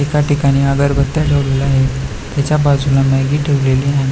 एका ठिकाणी अगरबत्या ठेवलेल्या आहेत त्याच्या बाजूला मॅगी ठेवलेली आहे.